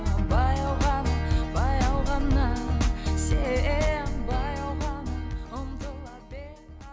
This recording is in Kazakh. баяу ғана баяу ғана сен баяу ғана ұмтыла